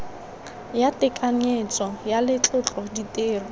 ya tekanyetso ya letlotlo ditiro